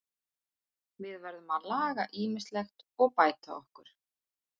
Við verðum að laga ýmislegt og bæta okkur.